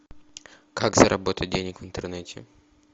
как заработать денег в интернете